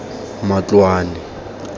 matloane